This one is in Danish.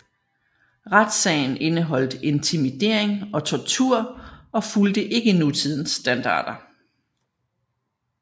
Retssagen indeholdt intimidering og tortur og fulgte ikke nutidens standarder